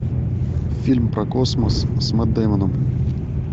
фильм про космос с мэтт деймоном